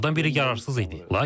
Onlardan biri yararsız idi.